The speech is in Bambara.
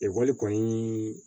Ekɔli kɔni